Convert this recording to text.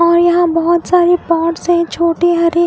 और यहाँ बहुत सारे पॉट्स है छोटे हरे--